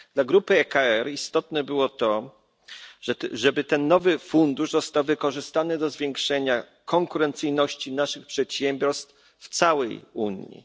Dla grupy ECR istotne było to, aby ten nowy fundusz został wykorzystany do zwiększenia konkurencyjności naszych przedsiębiorstw w całej Unii.